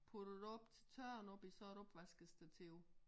Puttet det op til tørre oppe i sådan et opvaskestativ